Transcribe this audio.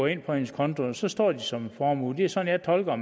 ind på hendes konto og så står det som en formue det er sådan jeg tolker